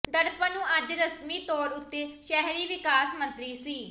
ਦਰਪਣ ਨੂੰ ਅੱਜ ਰਸਮੀ ਤੌਰ ਉਤੇ ਸ਼ਹਿਰੀ ਵਿਕਾਸ ਮੰਤਰੀ ਸ